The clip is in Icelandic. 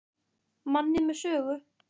Manni með sögu.